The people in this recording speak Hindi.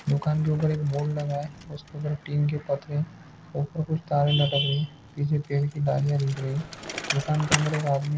दुकान के ऊपर बोर्ड लगा है। दुकान के अंदर एक आदमी--